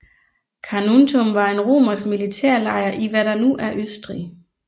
Carnuntum var en romersk militærlejr i hvad der nu er Østrig